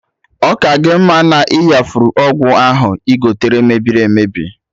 Ọ ka gị mma na-iyafuru ọgwụ ahụ igote mebiri emebi